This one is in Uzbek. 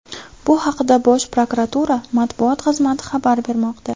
Bu haqda Bosh prokuratura matbuot xizmati xabar bermoqda.